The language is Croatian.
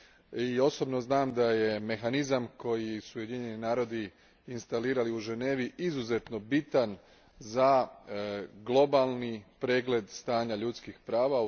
I osobno znam da je mehanizam koji su Ujedinjeni narodi instalirali u Ženevi izuzetno bitan za globalni pregled stanja ljudskih prava.